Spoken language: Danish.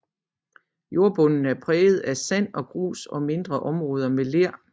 Jornbunden er præget af sand og grus og mindre områder med ler